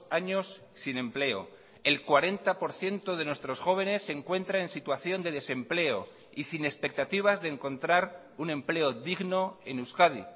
años sin empleo el cuarenta por ciento de nuestros jóvenes se encuentra en situación de desempleo y sin expectativas de encontrar un empleo digno en euskadi